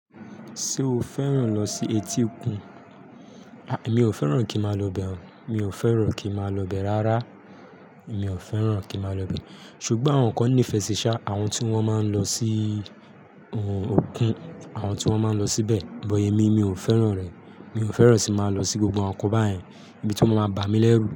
Ṣé o fẹ́ràn lọ sí etí òkun? Mi ò fẹ́ràn kí n má lọ bẹ̀ o. Mi ò fẹ́ràn kí má lọ bẹ̀ rárá. Mi ò fẹ́ràn kí má lọ bẹ̀. Ṣùgbọ́n àwọn nkan nífẹsí ṣá, àwọn tí wọ́n máa ń lọ sí òkun, àwọn tí wọ́n máa ń lọ síbẹ̀. Bọ̀ émi, mi ò fẹ́ràn rẹ̀. Mi ò fẹ́ràn sí máa lọ sí gbogbo àwon nkan bá yẹn, ibi tí ma máa bá mi lẹ́rù.